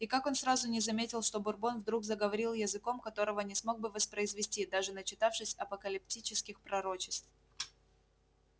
и как он сразу не заметил что бурбон вдруг заговорил языком которого не смог бы воспроизвести даже начитавшись апокалиптических пророчеств